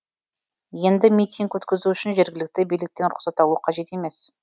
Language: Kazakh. енді митинг өткізу үшін жергілікті биліктен рұқсат алу қажет емес